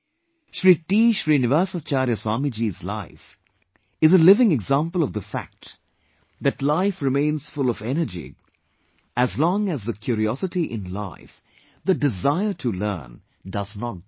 Shri T Srinivasacharya Swamiji's life is a living example of the fact that life remains full of energy, as long as the curiosity in life, the desire to learn, does not die